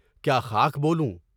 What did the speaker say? کیا خاک بولوں؟